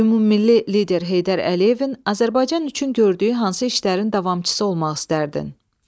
Ümummilli lider Heydər Əliyevin Azərbaycan üçün gördüyü hansı işlərin davamçısı olmaq istərdin?